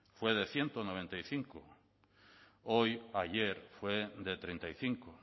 fue de ciento noventa y cinco hoy ayer fue de treinta y cinco